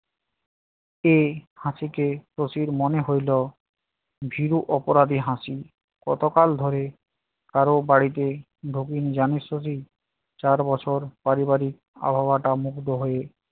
সেই হাসিকে শশীর মনে হইল ভীরু অপরাধী হাসি। কতকাল ধরে করো বাড়িতেি? ঢুকিনী জানিস শশী? চার বছর পারিবারিক আবহাওয়াটা মুগ্ধ হয়ে